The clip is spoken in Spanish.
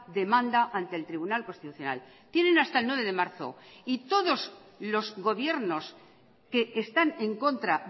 demanda ante el tribunal constitucional tienen hasta el nueve de marzo y todos los gobiernos que están en contra